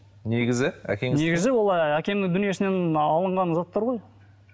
негізі әкеңіз негізі ол ыыы әкемнің дүниесінен алынған заттар ғой